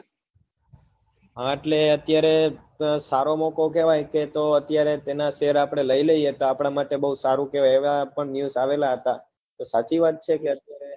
હા એટલે અત્યારે સારો મોકો કેવાય કે તો અત્યારે તેના share આપડે લઇ લિયે તો આપડા માટે બવ સારું કેવાય એવા પણ news આવેલા હતા તો સાચી વાત છે